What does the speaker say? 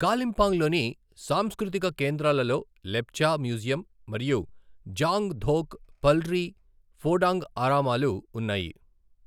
కాలింపాంగ్లోని సాంస్కృతిక కేంద్రాలలో లెప్చా మ్యూజియం మరియు జాంగ్ ధోక్ పల్రి ఫోడాంగ్ ఆరామాలు ఉన్నాయి.